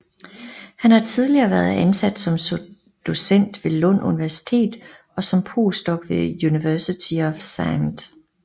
Han har tidligere været ansat som Docent ved Lund Universitet og som Postdoc ved University of St